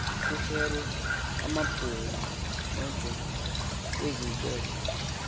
kuserwe amabhunga ezithethe